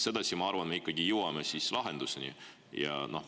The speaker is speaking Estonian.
Sedasi, ma arvan, me ikkagi jõuaksime lahenduseni.